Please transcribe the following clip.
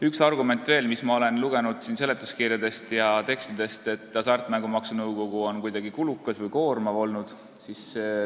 Üks argument, mida ma olen seletuskirjadest ja muudest tekstidest lugenud, on see, et hasartmängumaksu nõukogu on kuidagi kulukas olnud.